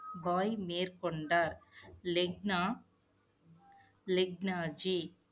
பாய் மேற்கொண்டார் லெக்னா லெக்னாஜி